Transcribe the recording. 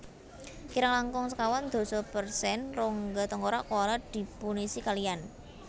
Kirang langkung sekawan dasa persen rongga tengkorak koala dipunisi kaliyan